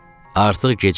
Artıq gec idi.